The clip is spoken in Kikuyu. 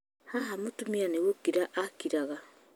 haha mũtumia nĩ gũkira akiraga